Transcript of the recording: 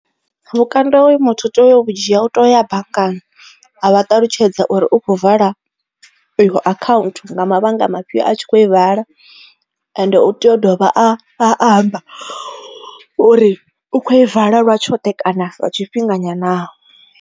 Vhukando hoyu muthu u tea u vhu dzhia u tea uya banngani a vha ṱalutshedza uri u khou vala iyo account nga mavhanga mafhio a tshi kho i vala ende u tea u dovha a amba uri u kho i vala lwa tshoṱhe kana lwa tshifhinga nyana.